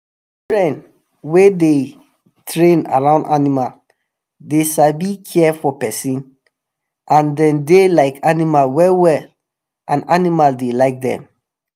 children wey dey train around animal dey sabi care for pesin and dem dey like animal well well and animal dey like dem.